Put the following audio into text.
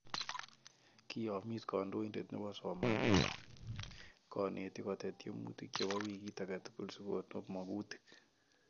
Koiyomis kondoindet nepo somanet konetik kotet tyemutik chepo wikiit age tugul sigokonop mongutik